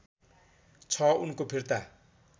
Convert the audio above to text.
छ उनको फिर्ता